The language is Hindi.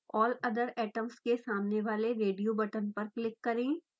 all other atoms के सामने वाले रेडियो बटन पर क्लिक करें